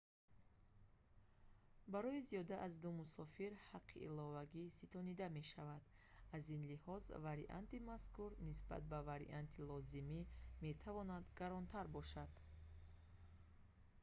барои зиёда аз 2 мусофир ҳаққи иловагӣ ситонида мешавад аз ин лиҳоз варианти мазкур нисбат ба варианти лозимӣ метавонад гаронтар бошад